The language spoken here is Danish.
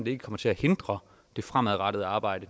ikke kommer til at hindre det fremadrettede arbejde